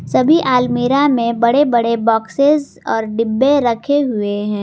सभी आलमीरा में बड़े बड़े बॉक्सेस और डिब्बे रखे हुए हैं।